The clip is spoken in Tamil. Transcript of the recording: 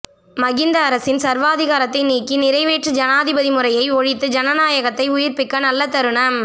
மஹிந்த அரசின் சர்வாதிகாரத்தை நீக்கி நிறைவேற்று ஜனாதிபதி முறையை ஒழித்து ஜனநாயகத்தை உயிர்ப்பிக்க நல்ல தருணம்